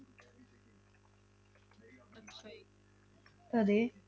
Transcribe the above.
ਅਤੇ